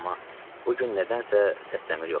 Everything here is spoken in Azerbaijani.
amma bu gün nədənsə səs-küy yox idi.